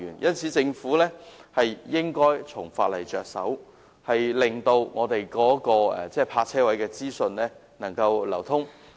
因此，政府應該從法例着手，令泊車位的資訊能夠流通。